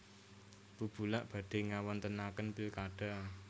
Bubulak badhe ngawontenaken pilkada